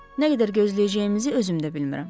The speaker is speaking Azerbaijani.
Nə qədər gözləyəcəyimizi özümdə bilmirəm.